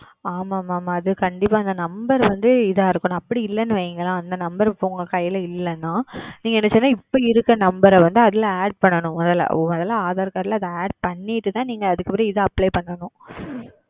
ஆமாம் ஆமாம் கண்டிப்பாக அந்த Number இதாக இருக்கனும் அப்படி இல்லை என்று வையுங்கள் அந்த Number இப்பொழுது உங்கள் கையில் இல்லை என்றால் நீங்கள் இப்பொழுது இருக்கிற Number வந்து Add செய்ய வேண்டும் முதலில் Aadhar Card ல் அது Add செய்து விட்டு தான் இதற்கு Apply செய்ய வேண்டும்